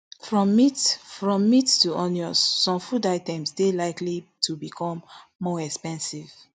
from meat from meat to onions some food items dey likely to become more expensive